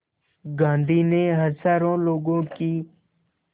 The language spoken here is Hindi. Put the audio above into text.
गांधी ने हज़ारों लोगों की